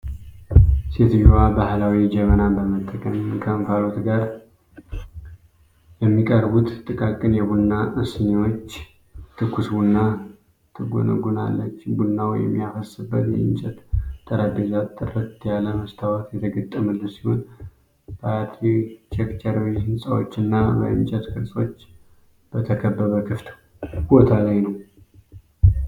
ሴትዮዋ ባህላዊ ጀበናን በመጠቀም፣ ከእንፋሎት ጋር ለሚቀርቡት ጥቃቅን የቡና ስኒዎች ትኩስ ቡና ትጎነጉናለች። ቡናው የሚያፈስበት የእንጨት ጠረጴዛ ጥርት ያለ መስታወት የተገጠመለት ሲሆን፣ በአርኪቴክቸራዊ ሕንጻዎችና በእንጨት ቅርጾች በተከበበ ክፍት ቦታ ላይ ነው።